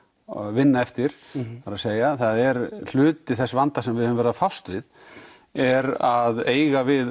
vinna eftir það er að segja það er hluti þess vanda sem við höfum verið að fást við er að eiga við